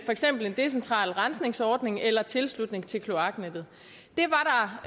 eksempel en decentral rensningsordning eller en tilslutning til kloaknettet